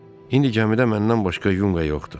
İndi cəmidə məndən başqa yunga yoxdu.